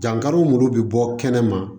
Dankari muru bɛ bɔ kɛnɛ ma